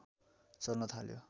चल्न थाल्यो